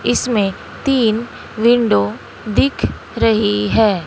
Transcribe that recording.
इसमें तीन विंडो दिख रही है।